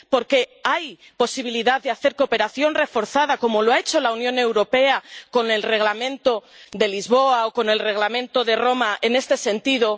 Porque hay posibilidad de recurrir a la cooperación reforzada, como ha hecho la Unión Europea con el Reglamento de Lisboa o con el Reglamento de Roma en este sentido.